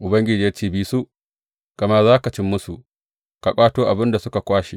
Ubangiji ya ce, Bi su, gama za ka ci musu, ka ƙwato abin da suka kwashe.